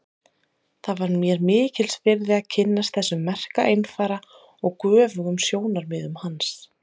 Það var mér mikils virði að kynnast þessum merka einfara og göfugum sjónarmiðum hans.